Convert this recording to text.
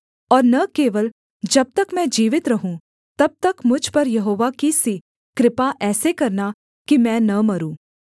और न केवल जब तक मैं जीवित रहूँ तब तक मुझ पर यहोवा की सी कृपा ऐसे करना कि मैं न मरूँ